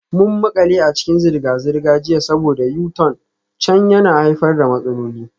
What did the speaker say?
Mun makale a cikin zirga-zirga jiya saboda U-turn can yana haifar da matsaloli.